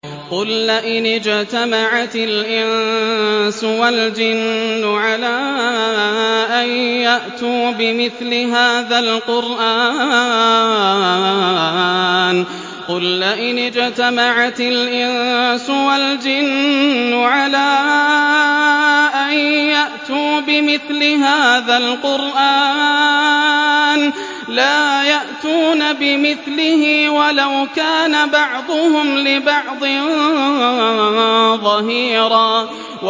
قُل لَّئِنِ اجْتَمَعَتِ الْإِنسُ وَالْجِنُّ عَلَىٰ أَن يَأْتُوا بِمِثْلِ هَٰذَا الْقُرْآنِ لَا يَأْتُونَ بِمِثْلِهِ وَلَوْ كَانَ بَعْضُهُمْ لِبَعْضٍ ظَهِيرًا